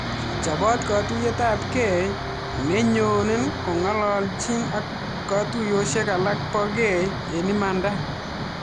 Chopaat katuiyet ap gei nenyoo kongalchin ak katuiyosiek alak pa gei eng imanatak